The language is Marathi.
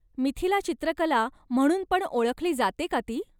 मिथिला चित्रकला म्हणून पण ओळखली जाते का ती?